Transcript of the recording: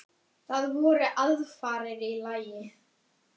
Það voru aðfarir í lagi!